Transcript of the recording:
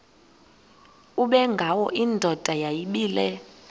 ubengwayo indoda yayibile